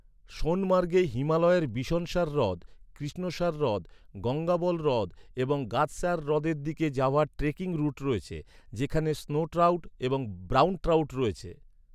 সোনমার্গে হিমালয়ের বিশনসার হ্রদ, কৃষ্ণসার হ্রদ, গঙ্গাবল হ্রদ এবং গাদসার হ্রদের দিকে যাওয়ার ট্রেকিং রুট রয়েছে, যেখানে স্নো ট্রাউট এবং ব্রাউন ট্রাউট রয়েছে।